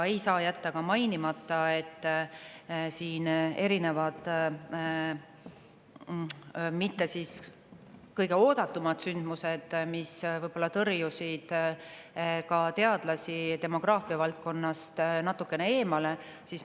Ei saa jätta ka mainimata, et on olnud erinevad mitte kõige oodatumad sündmused, mis võib-olla tõrjusid teadlasi demograafia valdkonnast natukene eemale.